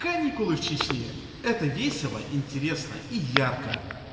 каникулы в чечне это весело и интересно и ярко